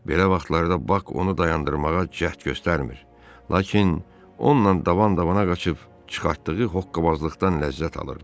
Belə vaxtlarda Bak onu dayandırmağa cəhd göstərmir, lakin onunla davam-davama qaçıb çıxartdığı hokkabazlıqdan ləzzət alırdı.